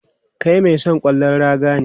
Kai mai son ƙwallon raga ne?